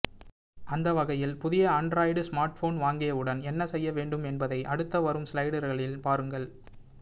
அந்த வகையில் புதிய ஆன்டிராய்டு ஸ்மார்ட்போன் வாங்கியவுடன் என்ன செய்ய வேண்டும் என்பதை அடுத்து வரும் ஸ்லைடர்களில் பாருங்கள்